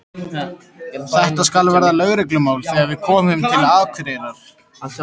Þetta skal verða lögreglumál, þegar við komum til Akureyrar.